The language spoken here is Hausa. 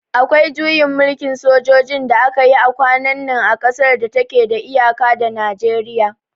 Akwai juyin mulkin sojoji da aka yi kwanan nan a kasar da ta ke da iyaka da Najeriya